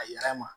A yɛrɛ ma